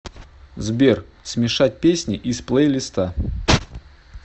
сбер смешать песни из плейлиста